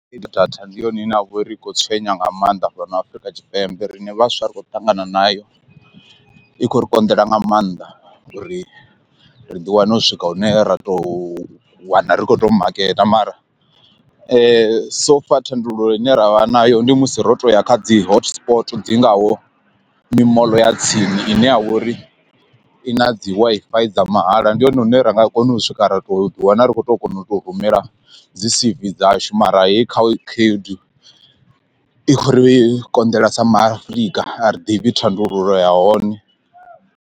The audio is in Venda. Data ndi yone ine ya vha uri i khou tswenya nga maanḓa fhano Afurika Tshipembe rine vhaswa ri kho ṱangana nayo i khou ri konḓela nga maanḓa uri ri ḓi wane u swika hune ra tou wana ri khou tou maketa mara so far, thandululo ine ravha nayo ndi musi ro to ya kha dzi hotspot dzi ngaho mimoḽo ya tsini ine ya vhori i na dzi Wi-Fi dza mahala ndi hone hune ra nga hone ra swika ra to ḓi wana ri khou tou kona u to rumela dzi c_v dzashu mara heyi kha khaedu i khou ri i konḓela sa ma Afrika a ri ḓivhi thandululo ya hone.